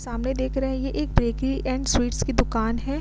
सामने देख रहे है ये एक बेकरी एंड स्वीट्स की दुकान है।